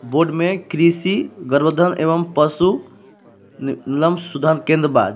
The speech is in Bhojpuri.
बोर्ड में कृषि गर्भधान एवं पशु न-नल सुधार केंद्र बा जे--